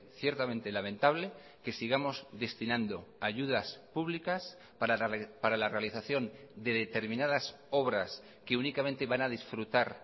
ciertamente lamentable que sigamos destinando ayudas públicas para la realización de determinadas obras que únicamente van a disfrutar